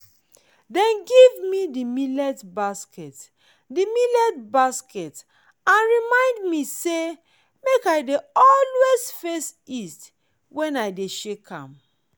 dem give me di millet basket di millet basket and remind me say make i always face east when i dey shake am.